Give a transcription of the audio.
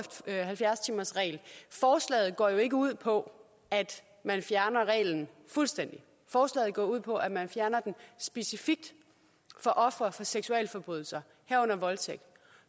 halvfjerds timersregel forslaget går jo ikke ud på at fjerne reglen fuldstændig forslaget går ud på at fjerne den specifikt for ofre for seksualforbrydelser herunder voldtægt